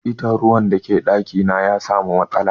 Hita na ruwa na daki na ya samu matsala.